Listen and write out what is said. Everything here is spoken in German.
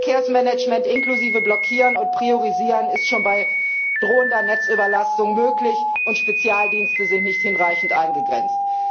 Verkehrsmanagement, inklusive Blockieren und Priorisieren, ist schon bei drohender Netzüberlastung möglich, und Spezialdienste sind nicht hinreichend eingegrenzt.